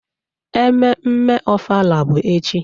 Ememme ofala bụ echi.